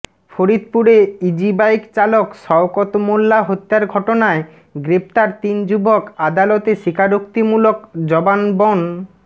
ফরিদপুরে ইজিবাইক চালক শওকত মোল্লা হত্যার ঘটনায় গ্রেপ্তার তিন যুবক আদালতে স্বীকারোক্তিমূলক জবানবন্